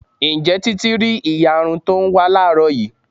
Ǹjẹ́ títí rí ìyarun to ń wá láàrọ́ yìí?